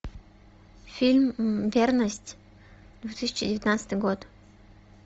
фильм верность две тысячи девятнадцатый год